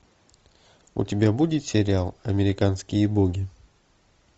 у тебя будет сериал американские боги